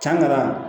Can ka na